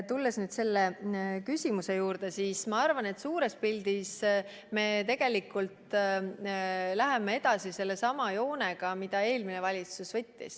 Tulles selle küsimuse juurde, ma arvan, et suures pildis me läheme edasi sellesama suunaga, mille eelmine valitsus võttis.